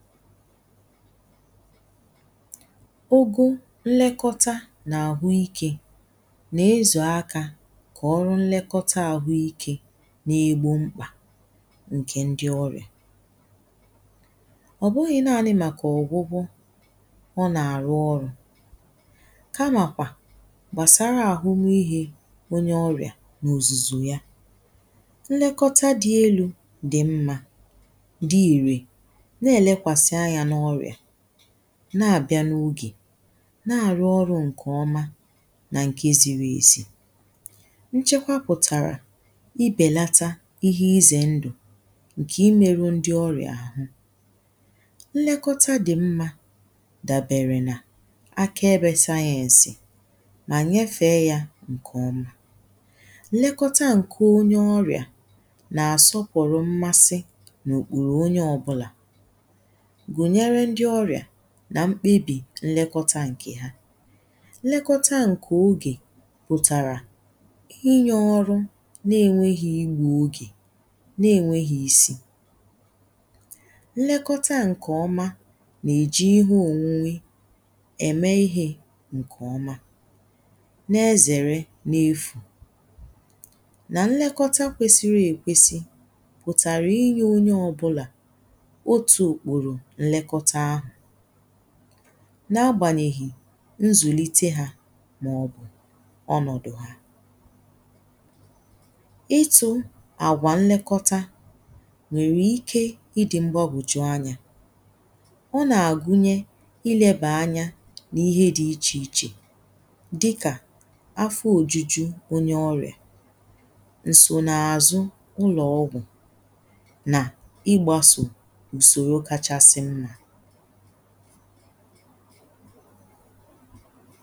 ụgụ̀ nnekọta nà àhụ ikė nà-ezù aka kà ọrụ nnekọta ahụ̀ ike n’igbȧ mkpà ǹkè ndi ọrìa. Ọ̀ bụghị̀ naanì màkà ọ̀gbụ̀gbụ̀ ọ nà-àrụ ọrù, kamàkwà gbàsara àhụmihe onye ọrìà nà òzùzù ya, nnekọta dì elu̇ dì mmȧ, dí íre, ne-lékwásí anyá n'oriá, na-àbịa n’ogè, na-àrụ ọrụ̇ ǹkè ọma, nà ǹke ziri ezi. Nchekwa pụ̀tàrà ibèlata ihe izè ndụ̀ ǹkè imeru ndi ọrìa. Nlekọta dì mmȧ dàbèrè nà aka ebė sayeǹsì mà nyefè ya ǹkè ọmà nlekọta ǹkè onye ọrìà nà-àsọpụ̀rụ mmasi n’ùkpùrù onye ọbụlà, gwúyérú ndi orìà na mkpebì nnekọta ǹkè ha. Nnekọta ǹkè ogè pụ̀tàrà inye ọrụ n’enweghi igwè ogè n’enweghi isi. Nnekọta ǹkè ọma nà-èji ihe ònwunwe ème ihe ǹkè ọma nà-ezère n’efù nà nnekọta kwesiri èkwesi pụ̀tàrà inye onye ọbụlà otú okpóró nnekọta ahu, n’agbànyèghì nzùlite hȧ màọ̀bụ̀ ọnọ̀dụ̀ ha. Itu̇ àgwà nlekọta nwèrè ike ịdị̇ mgbọbùju anyȧ, ọ nà-àgụnye ilėbà anya n’ihe dị̇ ichè ichè dịkà afọ ojuju onye ọrìà, ǹsònààzụ ụlọ̀ ọgwụ̀ na igbasó usoro kachásímmá.